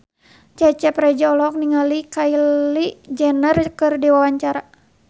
Cecep Reza olohok ningali Kylie Jenner keur diwawancara